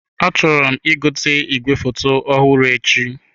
Achọrọ m ị gote igwefoto ọhụrụ echi.